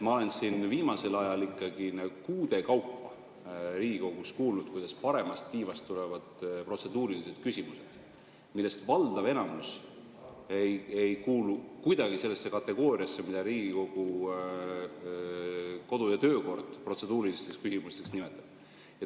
Ma olen siin viimasel ajal kuude kaupa Riigikogus kuulnud, kuidas paremalt tiivalt tulevad protseduurilised küsimused, millest enamus ei kuulu kuidagi sellesse kategooriasse, mida Riigikogu kodu‑ ja töökord protseduurilisteks küsimusteks nimetab.